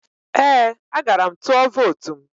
Ee, agara m tụọ vootu m.